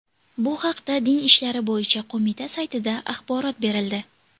Bu haqda Din ishlari bo‘yicha qo‘mita saytida axborot berildi .